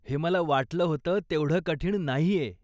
हे मला वाटलं होतं तेवढं कठीण नाहीये.